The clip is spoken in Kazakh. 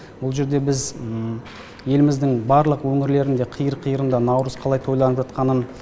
бұл жерде біз еліміздің барлық өңірлерінде қиыр қиырында наурыз қалай тойланып жатқанын